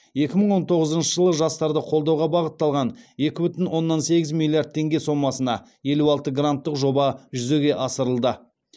екі мың он тоғызыншы жылы жастарды қолдауға бағытталған екі бүтін оннан сегіз миллиард теңге сомасына елу алты гранттық жоба жүзеге асырылды